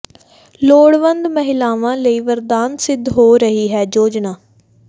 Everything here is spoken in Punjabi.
ਲੋੜਵੰਦ ਮਹਿਲਾਵਾਂ ਲਈ ਵਰਦਾਨ ਸਿੱਧ ਹੋ ਰਹੀ ਹੈ ਯੋਜਨਾ